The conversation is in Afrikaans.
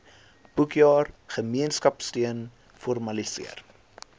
boekjaar gemeenskapsteun formaliseer